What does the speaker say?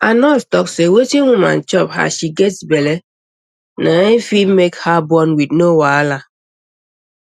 our nurse talk say wetin woman chop as she gets belle na fit make her born wit no wahala